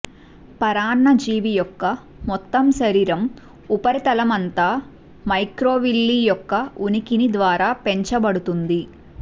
పరాన్నజీవి యొక్క మొత్తం శరీరం ఉపరితలం అంతా మైక్రోవిల్లీ యొక్క ఉనికిని ద్వారా పెంచబడుతుంది